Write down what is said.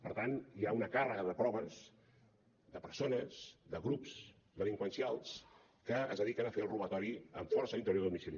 per tant hi ha una càrrega de proves de persones de grups delinqüencials que es dediquen a fer el robatori amb força a l’interior de domicili